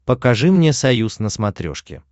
покажи мне союз на смотрешке